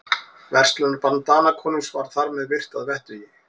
Verslunarbann Danakonungs var þar með virt að vettugi.